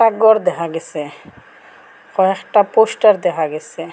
গর দেহা গেসে কয়েকটা পোস্টার দেহা গেসে।